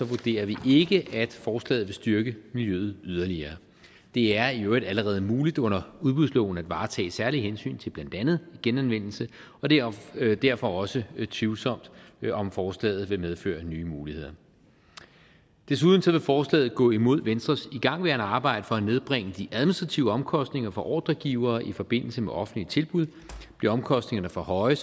vurderer vi ikke at forslaget vil styrke miljøet yderligere det er i øvrigt allerede muligt under udbudsloven at varetage særlige hensyn til blandt andet genanvendelse og det er derfor også tvivlsomt om forslaget vil medføre nye muligheder desuden vil forslaget gå imod venstres igangværende arbejde for at nedbringe de administrative omkostninger for ordregivere i forbindelse med offentlige tilbud bliver omkostningerne for høje